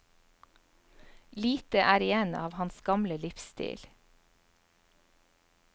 Lite er igjen av hans gamle livsstil.